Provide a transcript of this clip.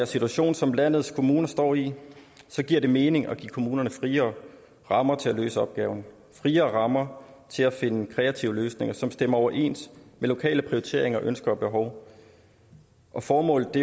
situation som landets kommuner står i giver det mening at give kommunerne friere rammer til at løse opgaven og friere rammer til at finde kreative løsninger som stemmer overens med lokale prioriteringer ønsker og behov formålet